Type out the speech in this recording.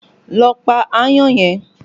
Lọ pa aáyán yẹn!